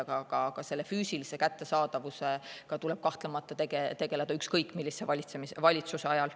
Aga füüsilise kättesaadavusega tuleb kahtlemata tegeleda ükskõik millise valitsuse ajal.